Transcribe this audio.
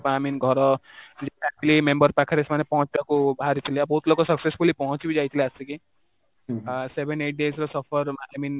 ଘର family member ପାଖରେ ସେମାନେ ପହଞ୍ଚିବାକୁ ବାହାରିଥିଲେ, ବହୁତ ଲୋକ successfully ପହଞ୍ଚି ବି ଯାଇଥିଲେ ଆସିକି seven eight days ର I mean